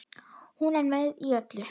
Hún er með í öllu